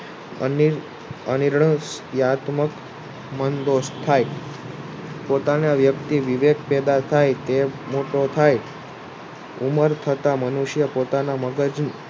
અનિષ્ઠ અનિર્ણક વયાત્મક મન દોષ થાય પોતાના વ્યક્તિ વિવેક પેદા થાય કે મોટો થાય ઉમ્મર તથા મનુષ્ય પોતાના મગજ